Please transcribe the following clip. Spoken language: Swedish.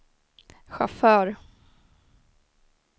chaufför